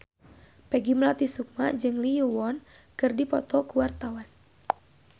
Peggy Melati Sukma jeung Lee Yo Won keur dipoto ku wartawan